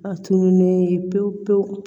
A tununilen pewu pewu